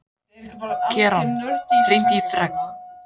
Keran, hringdu í Fregn.